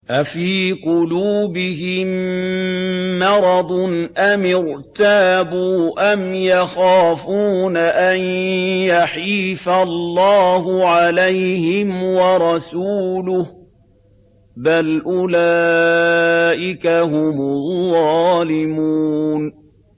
أَفِي قُلُوبِهِم مَّرَضٌ أَمِ ارْتَابُوا أَمْ يَخَافُونَ أَن يَحِيفَ اللَّهُ عَلَيْهِمْ وَرَسُولُهُ ۚ بَلْ أُولَٰئِكَ هُمُ الظَّالِمُونَ